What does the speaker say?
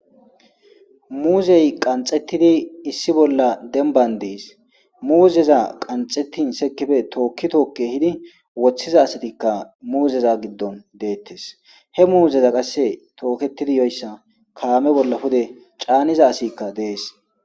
Muuzey qanxettidi issi bolla denban dees muuzeza qanxettin sekife tookki tookke hidi woththiza asatikka muuzeza giddon deettes he muuzeza qasse tooketidi yoyssa kaame bolla pude caaniza asikka dees